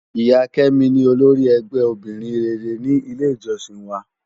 Iya Kemi ni ólórì ègbè óbìrín réré ni ilé ijòsín wá